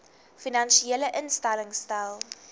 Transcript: finansiële instellings stel